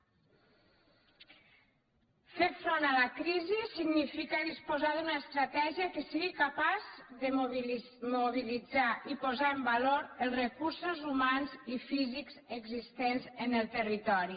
fer front a la crisi significa disposar d’una estratègia que sigui capaç de mobilitzar i posar en valor els recursos humans i físics existents en el territori